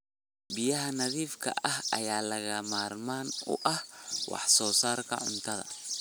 Biyaha nadiifka ah ayaa lagama maarmaan u ah wax soo saarka cuntada.